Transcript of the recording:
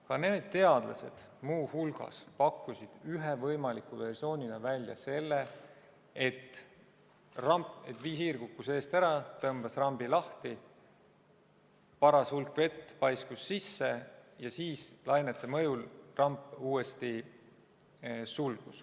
Ka need teadlased pakkusid muu hulgas ühe võimaliku versioonina välja selle, et visiir kukkus eest ära, tõmbas rambi lahti, paras hulk vett paiskus sisse, ja siis lainete mõjul sulgus ramp uuesti.